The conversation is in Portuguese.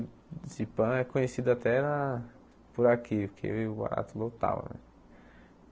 Se pã é conhecido até na por aqui, porque o barato lotava, velho.